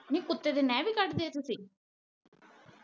ਨੀ ਕੁੱਤੇ ਦੇ ਨੇਹ ਵੀ ਕੱਟ ਸੀ?